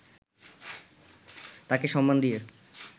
তাকে সম্মান দিয়ে